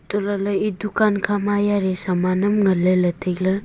etoh lahle e dukan kha ma yali saman aam ngan lele tailey.